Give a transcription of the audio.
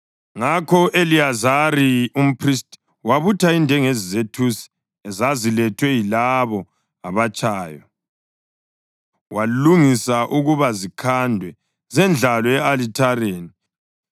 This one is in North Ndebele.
Ngakho u-Eliyazari umphristi wabutha indengezi zethusi ezazilethwe yilabo abatshayo, walungisa ukuba zikhandwe zendlalwe e-alithareni,